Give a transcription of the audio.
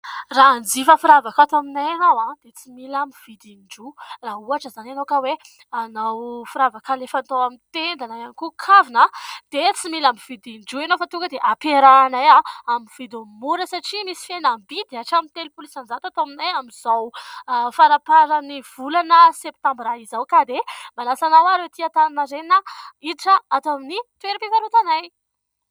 Raha hanjifa firavaka ato aminay ianao aho dia tsy mila mividy indroa, raha ohatra izany ianao ka hoe hanao firavaka ilay fatao amin'ny tenda na ihany koa kavina ianao, dia tsy mila mividy indroa ianao efa tonga dia hamperahanay ato amin'ny vidin'ny mora satria misy fihenambidy hatramin'ny telolopolo insan-jato ato aminay amin'izao faraparan'ny volana septambra izao. Ka dia manasa anareo ary ho ety "Antaninarenina" hiditra ato amin'ny toeram-pifarotanay.